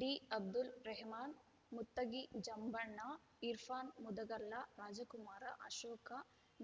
ಡಿಅಬ್ದುಲ್‌ Rahman Muttagi ಜಂಭಣ್ಣ Irfan ಮುದಗಲ್ಲ Rajkumar Ashoka